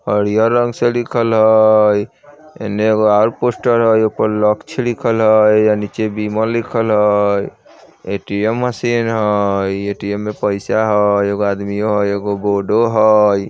हरियर रंग से लिखल हय एने एगो और पोस्टर हय ओय पर लक्ष्य लिखल हय अ नीचे विमल लिखल हय ए_टी_एम मशीन हय इ ए_टी_एम में पैसा हय एगो आदमीयों हय एगो बोर्डो हय।